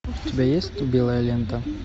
у тебя есть белая лента